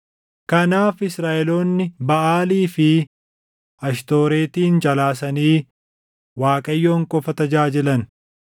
Kanaaf Israaʼeloonni Baʼaalii fi Ashtooretin calaasanii Waaqayyoon qofa tajaajilan.